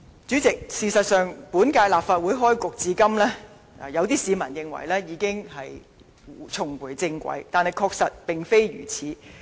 主席，事實上，本屆立法會開始至今，有市民認為已經重回正軌，但確實並非如此。